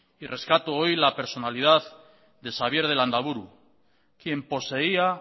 que rescate hoy la personalidad de xabier de landaburu quien poseía